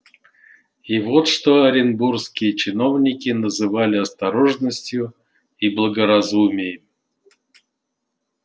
и вот что оренбургские чиновники называли осторожностию и благоразумием